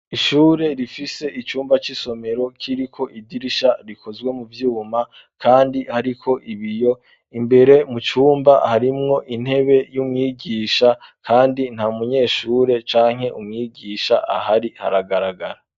ishure rifise icumba c'isomero kiriko idirisha rikozwe mu vyuma ,kandi hariko ibiyo, imbere mu cumba harimwo intebe y'umwigisha, kandi nta munyeshure canke umwigisha ahari haragaragara.